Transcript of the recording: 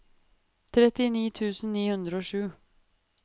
trettini tusen ni hundre og sju